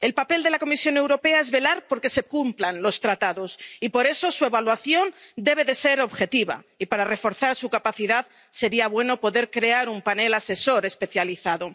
El papel de la Comisión Europea es velar por que se cumplan los Tratados y, por eso, su evaluación debe ser objetiva y, para reforzar su capacidad, sería bueno poder crear un panel asesor especializado.